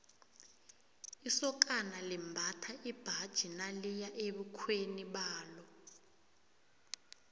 isokana limbatha imbaji naliya ebukhweni balo